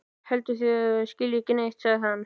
Heldur að það skilji ekki neitt, sagði hann.